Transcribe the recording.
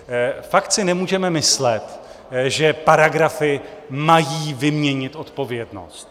Fakt si nemůžeme myslet, že paragrafy mají vyměnit odpovědnost.